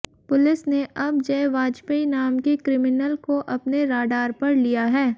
police ने अब जय वाजपेयी नाम के क्रिमिनल को अपने राडार पर लिया है